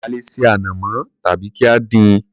A lè ṣe ànàmọ́ tàbí kí á dín-in.